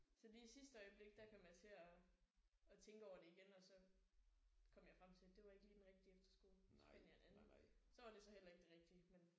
Så lige i sidste øjeblik der kom jeg til at at tænke over det igen og så kom jeg frem til det var ikke lige den rigtige efterskole så fandt jeg en anden. Så var det så heller ikke den rigtige men